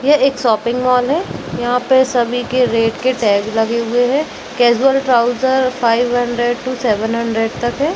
ये एक shopping mall है यहाँ पे सभी के रेट के टैग लगे हुवे है casual trouser five hundred to seven hundred तक है।